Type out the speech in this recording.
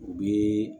U bɛ